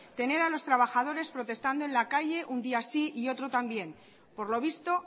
tener a los trabajadores protestando en la calle un día sí y otro también por lo visto